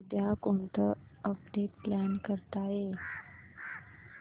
उद्या कोणतं update plan करता येईल